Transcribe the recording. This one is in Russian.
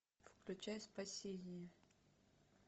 включай спасение